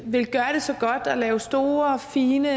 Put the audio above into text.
villet gøre det så godt og lavet store og fine